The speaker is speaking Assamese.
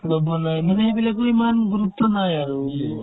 বা বনাই মানে সেইবিলাকৰ ইমান গুৰুত্ব নাই আৰু